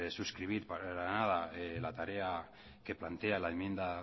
suscribir para nada la tarea que plantea la enmienda